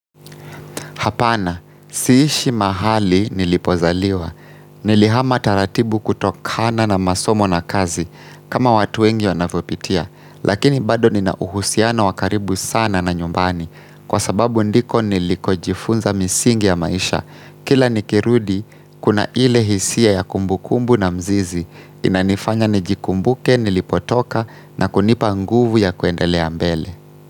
Hapana, siishi mahali nilipozaliwa. Nilihama taratibu kutokana na masomo na kazi kama watu wengi wanavopitia. Lakini bado ninauhusiano wakaribu sana na nyumbani kwa sababu ndiko niliko jifunza misingi ya maisha. Kila nikirudi, kuna ile hisia ya kumbukumbu na mzizi. Inanifanya nijikumbuke nilipotoka na kunipa nguvu ya kuendelea mbele.